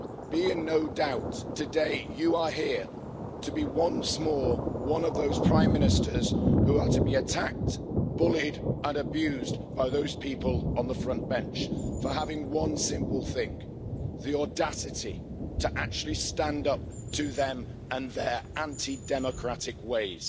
Be in no doubt today, you are here to be once more one of those Prime Ministers who are to be attacked, bullied and abused by those people on the front bench for having one simple thing the audacity to actually stand up to them and their anti democratic ways.